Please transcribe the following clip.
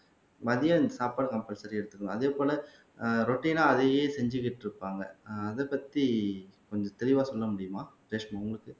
மதியம் எனக்கு சாப்பாடு கம்பல்சரி எடுத்துக்கணும் அதே போல ஆஹ் ரொட்டீனா அதையே செஞ்சுக்கிட்டு இருப்பாங்க ஆஹ் அதைப் பத்தி கொஞ்சம் தெளிவா சொல்ல முடியுமா ரேஷ்மா உங்களுக்கு